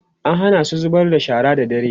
an Hana su zubar da shara da dare